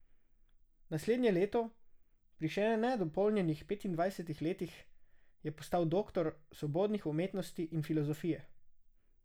Naslednje leto, pri še ne dopolnjenih petindvajsetih letih, je postal doktor svobodnih umetnosti in filozofije.